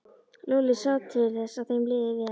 Lúlli sá til þess að þeim liði vel.